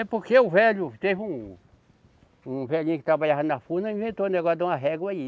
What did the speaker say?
É porque o velho. Teve um., um velhinho que trabalhava na furnas e inventou um negócio de uma régua aí.